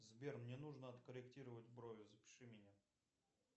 сбер мне нужно откорректировать брови запиши меня